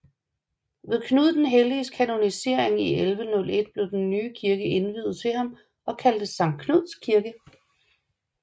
Ved Knud den Helliges kanonisering i 1101 blev den nye kirke indviet til ham og kaldtes Sankt Knuds Kirke